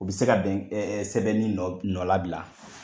U bi se ka bɛn sɛbɛnni nɔ la bila.